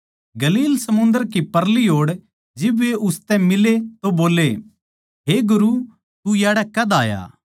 गलील समुन्दर कै परली ओड़ जिब वे उसतै मिले तो बोल्ले हे गुरु तू याड़ै कद आया